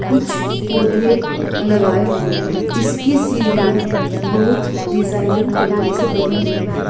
कुछ पौधे लगाए हुएँ हैं। इसकी सीढ़ियां बहुत डिजाइनिंग तरीके से बनी हुई हैं।